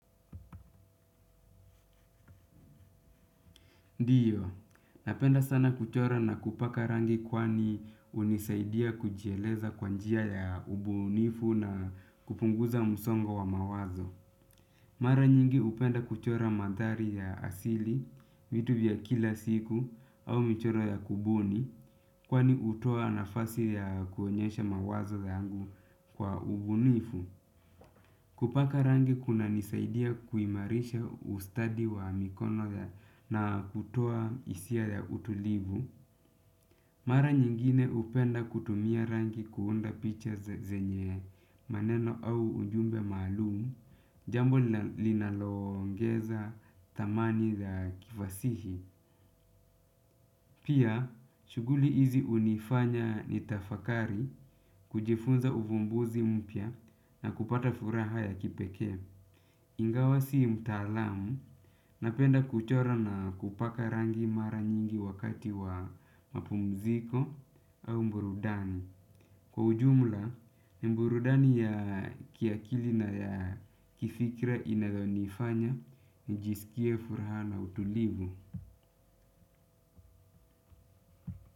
Ndiyo, napenda sana kuchora na kupaka rangi kwani unisaidia kujieleza kwa njia ya ubunifu na kupunguza msongo wa mawazo. Mara nyingi upenda kuchora madhari ya asili, vitu vya kila siku, au mchoro ya kubuni, kwani utoa nafasi ya kuonyesha mawazo yangu kwa ubunifu. Kupaka rangi kunanisaidia kuimarisha ustadi wa mikono na kutoa hisia ya utulivu. Mara nyingine hupenda kutumia rangi kuunda picha zenye maneno au ujumbe malumu. Jambo linaloongeza thamani za kifasihi. Pia, shughuli hizi unifanya nitafakari kujifunza uvumbuzi mpya na kupata furaha ya kipeke. Ingawa sii mtalamu napenda kuchora na kupaka rangi mara nyingi wakati wa mapumziko au burudani. Kwa ujumla, burudani ya kiakili na ya kifikra inazonifanya njisikie furaha na utulivu.